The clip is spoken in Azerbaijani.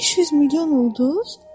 500 milyon ulduz?